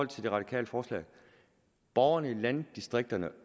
de radikales forslag at borgerne i landdistrikterne